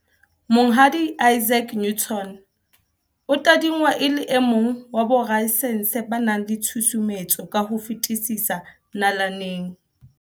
Monghadi Isaac Newton o tadingwa e le e mong wa borasaense ba nang le tshusumetso ka ho fetisisa nalaneng.